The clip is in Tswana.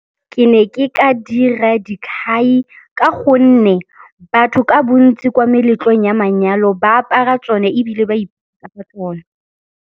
Ke ne ke ka dira dikhai ka gonne batho ka bontsi kwa meletlong ya manyalo ba apara tsone ebile ba ka tsona.